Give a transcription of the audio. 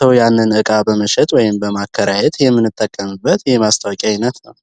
ሰው ያንን እቃ በመሸጥ ወይም በማከራየት የምንጠቀምበት የማስታወቂያ አይነት ነው።